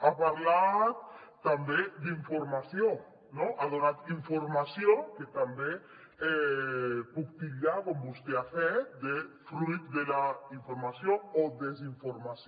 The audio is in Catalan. ha parlat també d’informació ha donat informació que també puc titllar com vostè ha fet de fruit de la informació o la desinformació